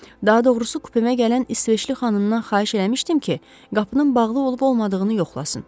Daha doğrusu, kupemə gələn İsveçli xanımdan xahiş eləmişdim ki, qapının bağlı olub-olmadığını yoxlasın.